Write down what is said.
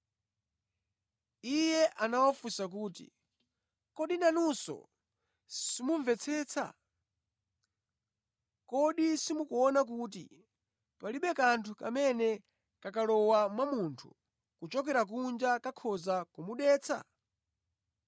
Iye anawafunsa kuti, “Kodi nanunso simumvetsetsa? Kodi simukuona kuti palibe kanthu kamene kakalowa mwa munthu kochokera kunja kakhoza kumudetsa?